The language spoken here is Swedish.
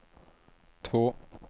två